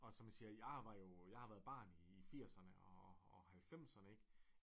Og som jeg siger jeg var jo jeg har været barn i firserne og havlfemserne ikke